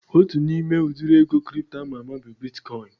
Otu n'ime udiri ego kripto ama ama bụ bitkọin